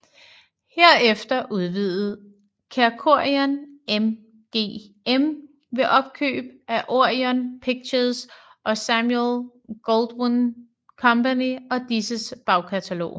Herefter udvidede Kerkorian MGM ved opkøb af Orion Pictures og Samuel Goldwyn Company og disses bagkatalog